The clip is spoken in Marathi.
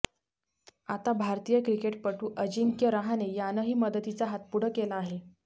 आता भारतीय क्रिकेटपटू अजिंक्य रहाणे यांनही मदतीचा हात पुढं केला आहे